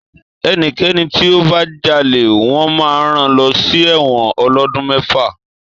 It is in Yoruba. Èní kéní tí ó bá jálè, wõn má ràn lõsí èwõn òlódun mèfá